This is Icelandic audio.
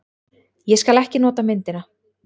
Ég skal ekki nota myndina.